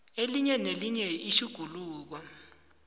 elinye nelinye itjhuguluko